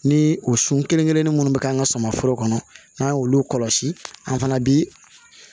Ni o sun kelen kelennin minnu bɛ k'an ka suman foro kɔnɔ n'an ye olu kɔlɔsi an fana bi